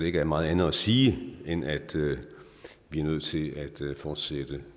ikke er meget andet at sige end at vi er nødt til at fortsætte